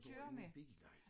Du har ingen bil nej